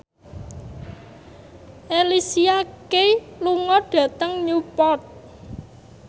Alicia Keys lunga dhateng Newport